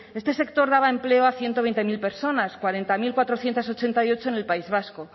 este sector daba empleo a ciento veinte mil personas cuarenta mil cuatrocientos ochenta y ocho en el país vasco